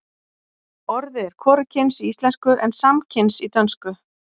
orðið er hvorugkyns í íslensku en samkyns í dönsku